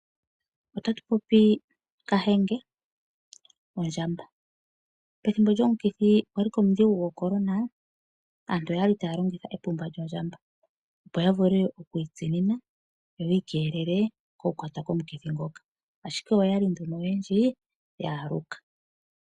Otatu popi kahenge , ondjamba. Ethimbo ndyoka lomukithi gwo korona , aantu okwali taya longitha epumba lyo ndjamba opo yavule okwiitsimina opo yiikelele okukwatwa komukithi ngoka. Ashike oyali nduno oyendji yeeluka.